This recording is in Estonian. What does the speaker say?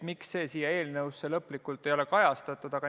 Miks see selles eelnõus lõplikult ei kajastu?